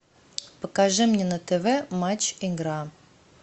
покажи мне на тв матч игра